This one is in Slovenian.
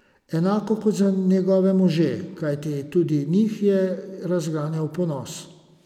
Enako kot za njegove može, kajti tudi njih je razganjal ponos.